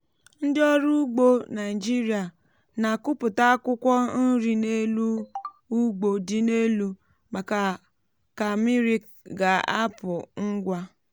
um ndị ọrụ ugbo um naịjirịa na-akụpụta akwụkwọ nri n’elu ugbo dị elu maka ka mmiri ga-apụ ngwa.